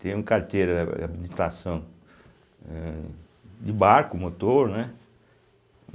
Tenho carteira de habilitação eh, de barco, motor, né?